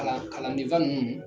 Kalan kalandenfa ninnu